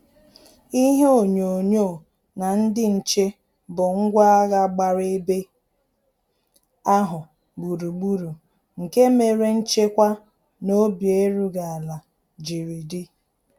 Ihe onyonyo na ndị nche bụ ngwa agha gbara ebe ahụ gburugburu, nke mere nchekwa na obi erughị ala jiri di